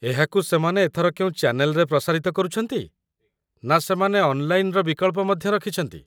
ଏହାକୁ ସେମାନେ ଏଥର କେଉଁ ଚ୍ୟାନେଲ୍‌ରେ ପ୍ରସାରିତ କରୁଛନ୍ତି, ନା ସେମାନେ ଅନ୍‌ଲାଇନ୍‌‌ର ବିକଳ୍ପ ମଧ୍ୟ ରଖିଛନ୍ତି?